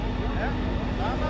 Nədən var?